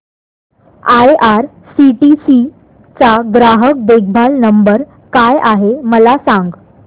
IRCTC चा ग्राहक देखभाल नंबर काय आहे मला सांग